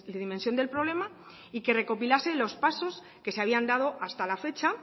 dimensión del problema y que recopilasen los pasos que se habían dado hasta la fecha